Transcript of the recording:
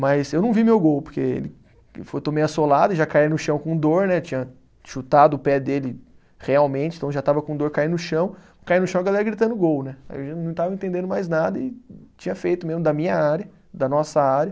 Mas eu não vi meu gol, porque ele foi tomei a solada, já caí no chão com dor né, tinha chutado o pé dele realmente, então já estava com dor, caí no chão, caí no chão a galera gritando gol né, não estava entendendo mais nada e tinha feito mesmo da minha área, da nossa área.